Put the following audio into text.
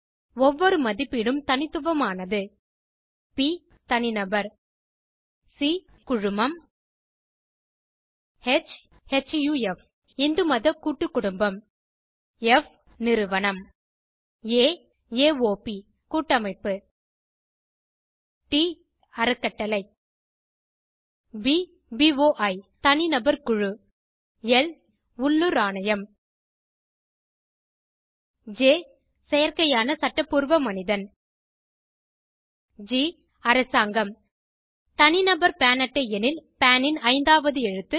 ஒவ்வொரு மதிப்பீடும் தனித்துவமானது ப் தனிநபர் சி குழுமம் ஹ் ஹஃப் இந்துமத கூட்டுக்குடும்பம் ப் நிறுவனம் ஆ ஏஒப் கூட்டமைப்பு ட் அறக்கட்டளை ப் போய் தனிநபர் குழு ல் உள்ளூர் ஆணையம் ஜ் செயற்கையான சட்டபூர்வ மனிதன் ஜி அரசாங்கம் தனிநபர் பான் அட்டை எனில் பான் ன் ஐந்தாவது எழுத்து